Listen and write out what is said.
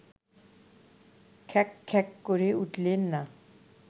খ্যাঁক খ্যাঁক করে উঠলেন না